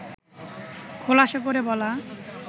খোলাসা করে বলা